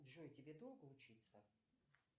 джой тебе долго учиться